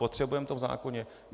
Potřebujeme to v zákoně?